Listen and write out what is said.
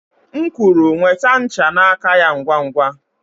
M kwuru, nweta ncha n'aka ya ngwa ngwa!